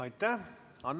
Aitäh!